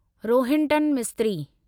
Rohinton Mistry